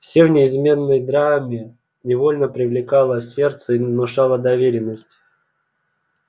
всё в неизменной драме невольно привлекало сердце и внушало доверенность